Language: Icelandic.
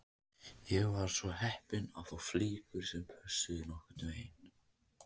Ég var svo heppinn að fá flíkur sem pössuðu nokkurn veginn